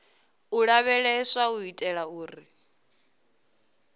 u lavheleswa u itela uri